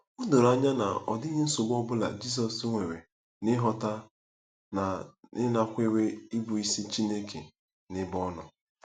O doro anya na ọ dịghị nsogbu ọ bụla Jizọs nwere n’ịghọta na ịnakwere ịbụisi Chineke n’ebe ọ nọ.